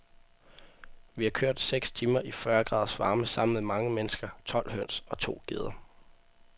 Vi har kørt seks timer i fyrre graders varme sammen med mange mennesker, tolv høns og to geder.